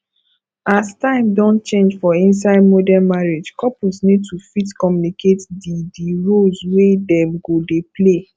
as time don change for inside modern marriage couple need to fit communicate di di roles wey dem go dey play